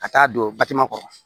Ka taa don batima kɔrɔ